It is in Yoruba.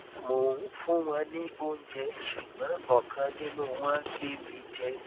mo ń fún wọn ní oúnjẹ ṣùgbọn ọkan nínú wọn gé mi jẹ